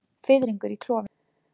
Fiðringur í klofinu.